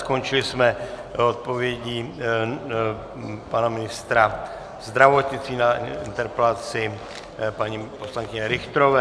Skončili jsme odpovědí pana ministra zdravotnictví na interpelaci paní poslankyně Richterové.